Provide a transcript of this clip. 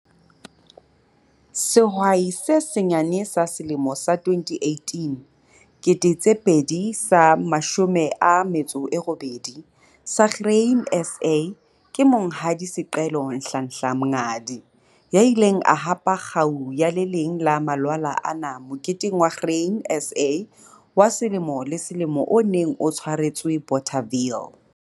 Sehwai se Senyane sa Selemo sa 2018 sa Grain SA ke Monghadi Sicelo Nhlanhla Mngadi, ya ileng a hapa kgau ya le leng la malwala ana Moketeng wa Grain SA wa selemo le selemo o neng o tshwaretswe Bothaville.